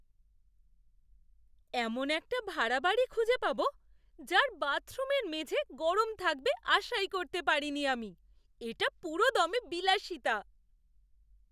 এমন একটা ভাড়া বাড়ি খুঁজে পাব যার বাথরুমের মেঝে গরম থাকবে আশাই করতে পারিনি আমি, এটা পুরোদমে বিলাসিতা!